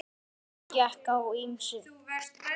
Þar gekk á ýmsu.